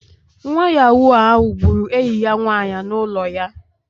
Nwa Yahoo ahu gburu enyi ya nwanyị n'ụlọ ya